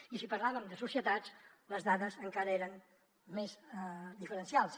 i si parlem de societats les dades encara eren més diferencials